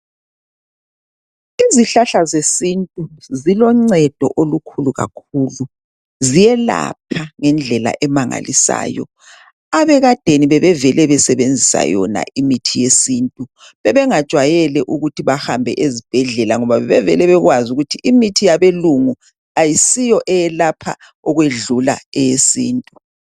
Izihlahla zesintu ziloncedo olukhulu kakhulu, ziyelapha ngendlela emangaliso. Ekadeni bebevele besebenzisa yona imithi yesintu bebengajwayele ukuthi bahambe ezibhedlela ngoba bebevele bekwazi ukuthi imithi yabelungu asiyo eyelapha okudlula eyesintu.